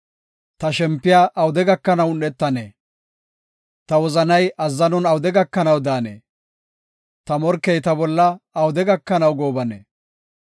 Ta shempiya awude gakanaw un7etanee? Ta wozanay azzanon awude gakanaw daanee? Ta morkey ta bolla awude gakanaw goobanee?